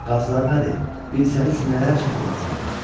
Qazlar nədir, bilsəniz nələr çəkir insanlar.